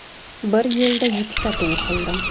Bir yilda yettita to‘y qildim.